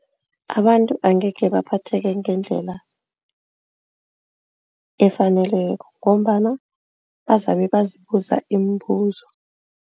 Abantu angekhe baphatheke ngendlela efaneleko ngombana bazabe bazibuza imibuzo.